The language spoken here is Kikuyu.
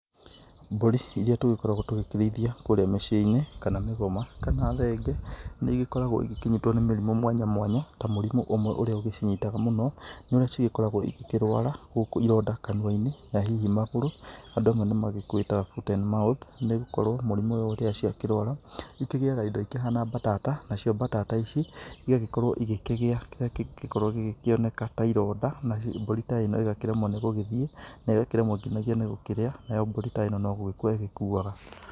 Mbũri irĩa tũgĩkoragwo tũgĩkĩrĩithia kũrĩa mĩciĩ-inĩ kana mĩgoma kana thenge nĩ ĩgĩkoragwo igĩkĩnyitwo nĩ mĩrimũ mwanya mwanya ta mũrimũ ũmwe ũgĩcinyitaga mũno nĩ ũrĩa cĩgĩkoragwo cigĩkĩrũara gũkũ ironda kanũa-inĩ na hihi magũrũ, andũ amwe nĩ makĩwĩtaga foot and mouth nĩgũkorwo mũrimũ ũyũ rĩrĩa ciakĩrwara nĩ ikĩgĩaga indo ikĩhana mbatata nacio mbatata ici igagĩkorwo igĩkĩgia kĩrĩa kĩngĩkorwo gĩgĩkĩoneka ta ironda na rĩu mbũri ta ĩno ĩgakĩremwo nĩ gũgĩthiĩ na ĩkaremwo nginyagia nĩ gũkĩrĩa nayo mbũri ta ĩno no gũgĩkua ikuaga.